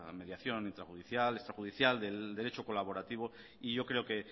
mediación intrajudicial extra judicial del derecho colaborativo y yo creo que